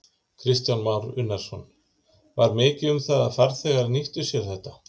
Kristján Már Unnarsson: Var mikið um það að farþegar nýttu sér þetta?